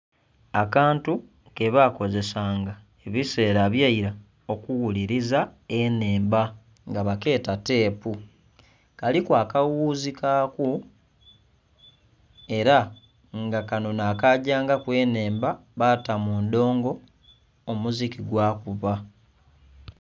Akantu kebakozesa nga ebiseera ebyaira okughuliriza enhemba nga bakeeta tepu kaliku akawuzi kaku era nga kano nhakagyangaku enhemba baata mundhongo omuziki gwakubba.